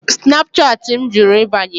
Snapchatị m jụrụ ịbanye.